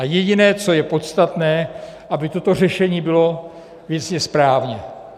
A jediné, co je podstatné, aby toto řešení bylo věcně správně.